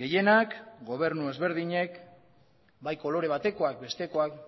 gehienak gobernu ezberdinek bai kolore batekoak bestekoak